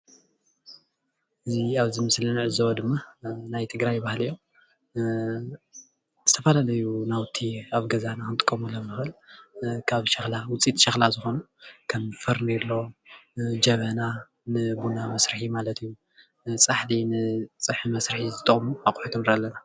እዚ ኣብዚ ምስሊ እንዕዘቦ ድም ናይ ትግራይ ባህሊ እዩ፡፡ ዝተፈላለዩ ናውቲ ኣብ ገዛና ክንጥቀመሎም እንክእል ውፅኢት ሸክላ ዝኮኑ ከም ፈርኔሎ፣ ጀበና ንቡና መስርሒ ማለት እዩ፣ ፃሕሊ ንፀብሒመስርሒ ዝጠቅሙ ኣቁሑት ንርኢ ኣለና፡፡